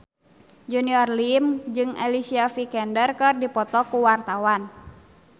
Junior Liem jeung Alicia Vikander keur dipoto ku wartawan